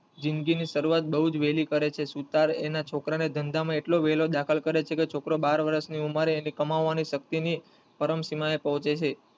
જિંદગી ની શરૂવાત બોવ જ વેલી કરે છે સુથાર એના છોકરાને ધંધા માં એટલો વેલો દાખલ કરે છે કે છોકરો બાર વર્ષ ની ઉંમરે એની કમાવાની શક્તિ ની પરમસીમા એ પહોચે છે.